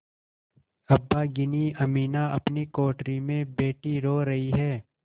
अभागिनी अमीना अपनी कोठरी में बैठी रो रही है